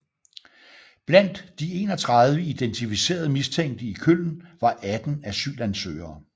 Blandt de 31 identificerede mistænkte i Köln var 18 asylansøgere